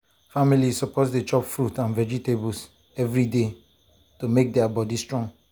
families suppose dey chop fruit and vegetables every day to make to make their body strong.